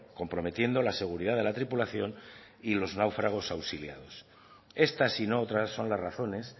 comprometiendo la seguridad de la tripulación y los náufragos auxiliados estas y no otras son las razones